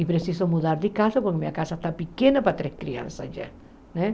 E preciso mudar de casa porque minha casa está pequena para três crianças já né.